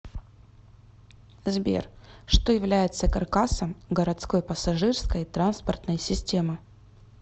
сбер что является каркасом городской пассажирской транспортной системы